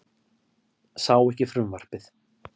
Sá ekki frumvarpið